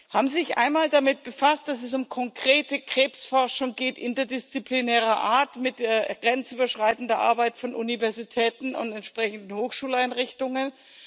Haben Sie sich einmal damit befasst, dass es um konkrete Krebsforschung interdisziplinärer Art mit grenzüberschreitender Arbeit von Universitäten und entsprechenden Hochschuleinrichtungen geht?